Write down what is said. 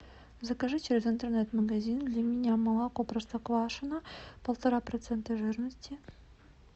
закажи через интернет магазин для меня молоко простоквашино полтора процента жирности